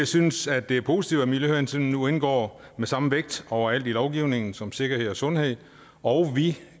synes at det er positivt at miljøhensyn nu indgår med samme vægt overalt i lovgivningen som sikkerhed og sundhed og vi